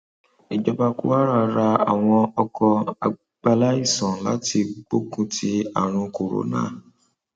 ìjọba kwara ra àwọn ọkọ àgbàláìsàn láti gbógun ti àrùn corona